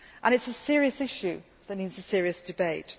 It is a serious issue that needs a serious